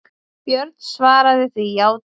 Björn svaraði því játandi.